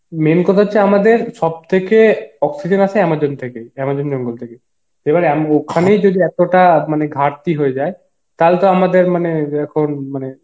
main কথা হচ্ছে আমাদের সব থেকে oxygen আসে amazon থেকে, amazon জঙ্গল থেকে এবার আম~ ওখানেই যদি এতটা মানে ঘরটি হয়ে যায় তাহলে তো আমাদের মানে এখন মানে